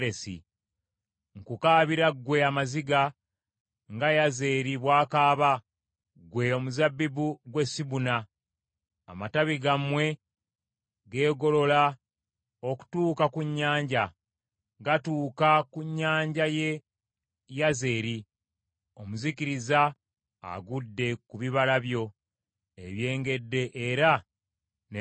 Nkukaabira ggwe amaziga, nga Yazeri bw’akaaba, ggwe omuzabbibu gw’e Sibuna. Amatabi gammwe geegolola okutuuka ku nnyanja; gatuuka ku nnyanja y’e Yazeri. Omuzikiriza agudde ku bibala byo ebyengedde era n’emizabbibu.